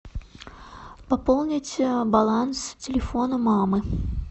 пополнить баланс телефона мамы